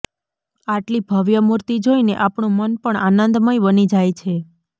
આટલી ભવ્ય મૂર્તિ જોઇને આપણું મન પણ આનંદમય બની જાય છે